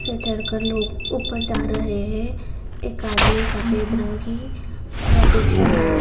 से चढ़कर लोग ऊपर जा रहे हैं एक आदमी सफेद रंग की अ टी-शर्ट और --